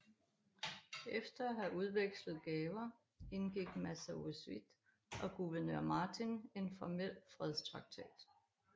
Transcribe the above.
Efter at have udvekslet gaver indgik Massasoit og guvernør Martin en formel fredstraktat